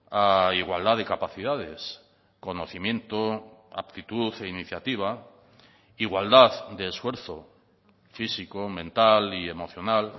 a igualdad de capacidades conocimiento aptitud e iniciativa igualdad de esfuerzo físico mental y emocional